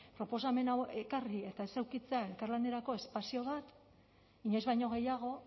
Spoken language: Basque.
proposamen hau ekarri eta ez edukitzea elkarlanerako espazio bat inoiz baino gehiago